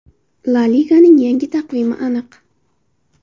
La Liganing yangi taqvimi aniq.